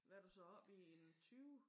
Hvad er du så oppe i? En 20?